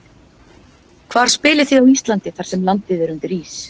Hvar spilið þið á Íslandi þar sem landið er undir ís?